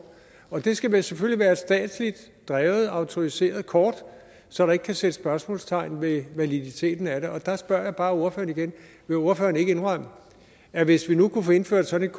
og det skal selvfølgelig være et statsligt drevet og autoriserede kort så der ikke kan sættes spørgsmålstegn ved validiteten af det og der spørger jeg bare ordføreren igen vil ordføreren ikke indrømme at hvis vi nu kunne få indført sådan